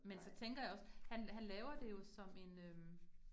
Men så tænker jeg også, han han laver det jo som en øh